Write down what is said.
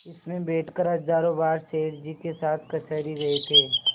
इसमें बैठकर हजारों बार सेठ जी के साथ कचहरी गये थे